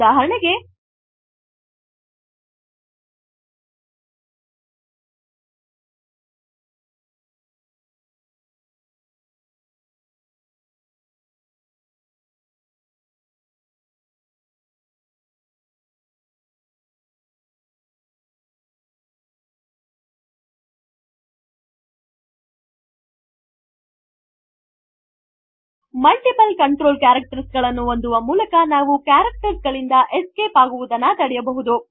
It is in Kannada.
ಉದಾಹರಣೆಗೆ ಮಲ್ಟಿಪಲ್ ಕಂಟ್ರೋಲ್ ಕ್ಯಾರಕ್ಟರ್ಸ್ ಗಳನ್ನು ಹೊಂದುವ ಮೂಲಕ ನಾವು ಕ್ಯಾರಕ್ಟರ್ಸ್ ಗಳಿಂದ ಎಸ್ಕೇಪ್ ಆಗುವುದನ್ನು ತಡೆಯಬಹುದು